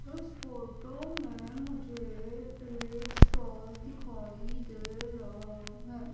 उस फोटो मे मुझे एक स्टॉल दिखाई दे रहा है।